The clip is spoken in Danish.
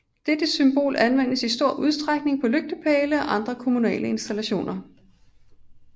Dette symbol anvendes i stor udstrækning på lygtepæle og andre kommunale installationer